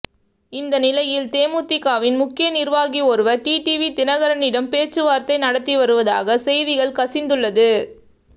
இந்த நிலையில் தேமுதிகவின் முக்கிய நிர்வாகி ஒருவர் டிடிவி தினகரனிடம் பேச்சுவார்த்தை நடத்தி வருவதாக செய்திகள் கசிந்துள்ளது